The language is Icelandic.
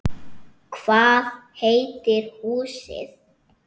Hvað heitir húsið?